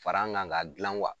Fara an kan ka gilan wa